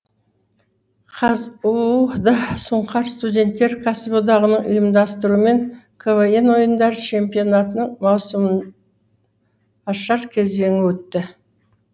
қазұу да сұңқар студенттер кәсіподағының ұйымдастыруымен квн ойындары чемпионатының маусымы ашар кезеңі өтті